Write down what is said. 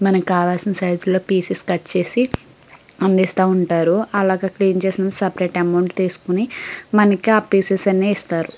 మనకి కావాల్సిన సైజ్ లో పీసెస్ కట్ చేసి అందిస్తా ఉంటారు అలాగ క్లీన్ చేసినవి సపరేట్ అమౌంట్ తీసుకుని మనకి ఆ పీసెస్ అన్నీ ఇస్తారు.